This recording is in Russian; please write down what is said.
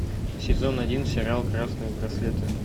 сезон один сериал красные браслеты